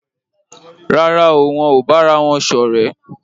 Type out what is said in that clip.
Rárá o, wón ò bára wón ṣọ̀rẹ́